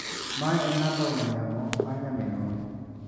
Mae en namba ong'ue yamo mar nyaminwa.